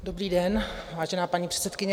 Dobrý den, vážená paní předsedkyně.